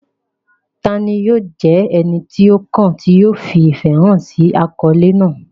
Ta ni yóò jẹ́ ẹni tí ó kàn tí yóò fi ìfẹ́ hàn sí àkọlé náà?